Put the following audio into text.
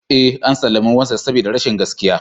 Ee, an sallami Moses saboda rashin gaskiya.